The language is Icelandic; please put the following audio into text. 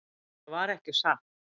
Það var ekki satt.